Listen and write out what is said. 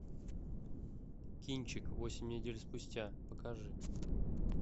кинчик восемь недель спустя покажи